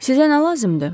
Sizə nə lazımdır?